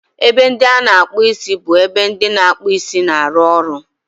Ebe ndị a na-akpụ isi bụ ebe ndị na-akpụ isi na-arụ ọrụ